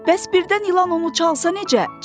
Bəs birdən ilan onu çalsa necə?